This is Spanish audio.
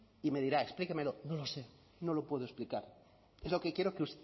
y me dirá explíquemelo no lo sé no lo puedo explicar es lo que quiero que